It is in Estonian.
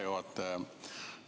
Hea juhataja!